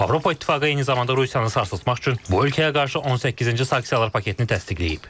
Avropa İttifaqı eyni zamanda Rusiyanı sarsıtmaq üçün bu ölkəyə qarşı 18-ci sanksiyalar paketini təsdiqləyib.